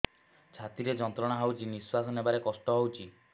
ଛାତି ରେ ଯନ୍ତ୍ରଣା ହଉଛି ନିଶ୍ୱାସ ନେବାରେ କଷ୍ଟ ହଉଛି